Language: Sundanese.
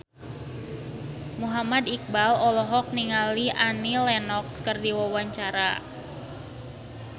Muhammad Iqbal olohok ningali Annie Lenox keur diwawancara